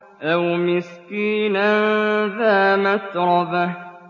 أَوْ مِسْكِينًا ذَا مَتْرَبَةٍ